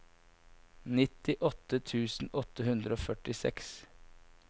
nittiåtte tusen åtte hundre og førtiseks